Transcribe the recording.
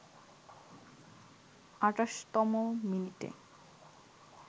২৮তম মিনিটে